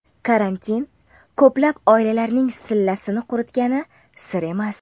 Karantin ko‘plab oilalarning sillasini quritgani sir emas.